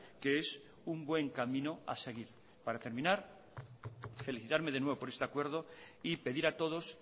que es un buen camino a seguir para terminar felicitarme de nuevo por este acuerdo y pedir a todos